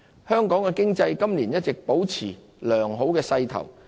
香港經濟今年一直保持良好勢頭。